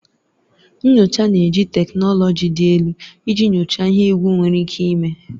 Nyocha na-eji teknụlọji dị elu iji nyochaa ihe egwu nwere ike ime.